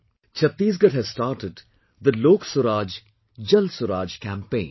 Chhattisgarh has started the 'LokSuraj, JalSuraj' campaign